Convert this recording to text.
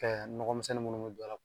nɔgɔmisɛn minnu mi don a la